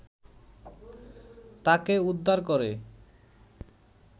তাকে উদ্ধার করে